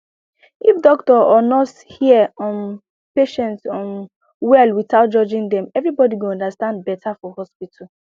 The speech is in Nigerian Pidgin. if doctor or nurse hear um patient um well without judging dem everybody go understand better for hospital